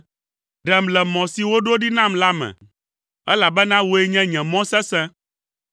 Ɖem le mɔ si woɖo ɖi nam la me, elabena wòe nye nye mɔ sesẽ.